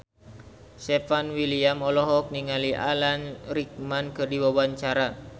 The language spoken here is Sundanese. Stefan William olohok ningali Alan Rickman keur diwawancara